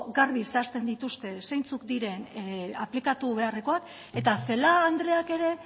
garbi zehazten dituzte zeintzuk diren aplikatu beharrekoak eta celaá andreak ere